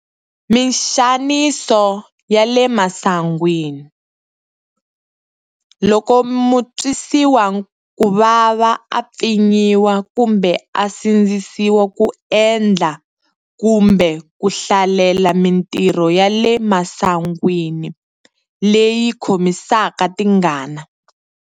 Mixaniso ya le masangwini- Loko mutwisiwakuvava a pfinyiwa kumbe a sindzisiwa ku endla kumbe ku hlalela mitirho ya le masangwini leyi khomisaka tingana.